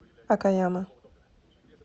окаяма